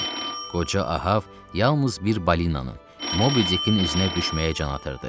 Qoca Ahav yalnız bir balinanın, Mobidikin üzünə düşməyə can atırdı.